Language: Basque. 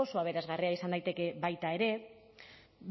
oso aberasgarria izan daiteke baita ere